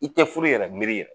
I tɛ furu yɛrɛ miiri yɛrɛ